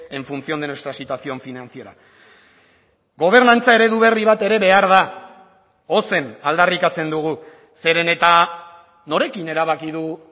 en función de nuestra situación financiera gobernantza eredu berri bat ere behar da ozen aldarrikatzen dugu zeren eta norekin erabaki du